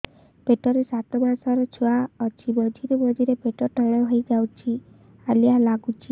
ପେଟ ରେ ସାତମାସର ଛୁଆ ଅଛି ମଝିରେ ମଝିରେ ପେଟ ଟାଣ ହେଇଯାଉଚି ହାଲିଆ ଲାଗୁଚି